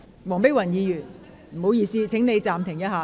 黃碧雲議員，請你稍停。